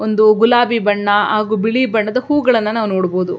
ಒಂದು ಗುಲಾಬಿ ಬಣ್ಣ ಹಾಗು ಬಿಳಿ ಬಣ್ಣದ ಹೂಗಳನ್ನ ನಾವು ನೋಡಬಹುದು.